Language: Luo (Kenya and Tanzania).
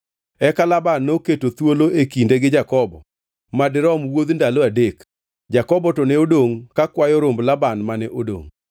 Eka Laban noketo thuolo e kinde gi Jakobo madirom wuodh ndalo adek Jakobo to ne odongʼ kakwayo romb Laban mane odongʼ.